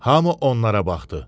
Hamı onlara baxdı.